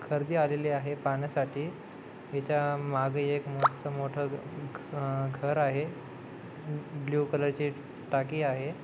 गर्दी आलेली आहे पाहण्यासाठी त्याच्या मागे एक मस्त मोठ घर आहे आणि ब्लू कलर ची टाकी आहे.